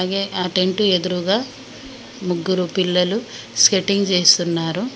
ఏ ఆ టెంటు ఎదురుగా ముగ్గురు పిల్లలు స్కెటింగ్ చేస్తున్నారు.